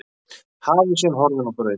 Hafísinn horfinn á braut